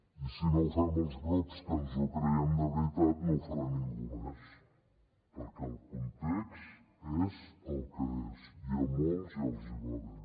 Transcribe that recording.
i si no ho fem els grups que ens ho creiem de veritat no ho farà ningú més perquè el context és el que és i a molts ja els hi va bé